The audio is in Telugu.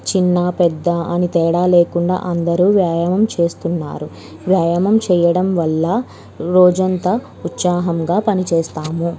చిన్న పెద్ద అని తేడా లేకుండా అందరూ వ్యాయామం చేస్తున్నారు. వ్యాయామం చేయడం వల్ల రోజంతా ఉత్సాహంగా పనిచేస్తాము.